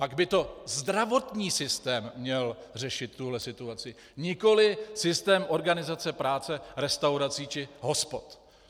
Pak by to zdravotní systém měl řešit, tuhle situaci, nikoliv systém organizace práce restaurací či hospod.